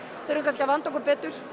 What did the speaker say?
þurfum kannski að vanda okkur betur